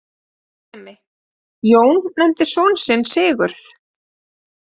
Dæmi: Jón nefndi son sinn Sigurð.